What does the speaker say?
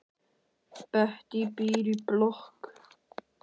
Bettý býr í blokk.